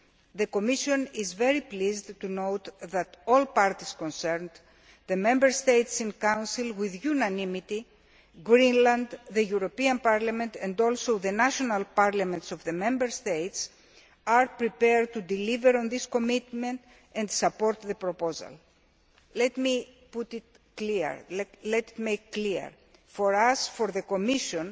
The Commission is very pleased to note that all parties concerned the Member States in Council with unanimity, Greenland, the European Parliament and also the national parliaments of the Member States are prepared to deliver on this commitment and support the proposal. Let me be clear for us, the Commission,